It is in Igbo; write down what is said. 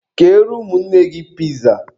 Keere ụmụnne gị piza!